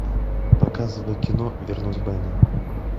показывай кино вернуть бена